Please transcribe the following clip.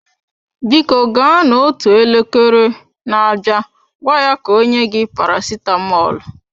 Biko gaa n'otu elekere na-abịa gwa ya ka o nye gị paracetamol.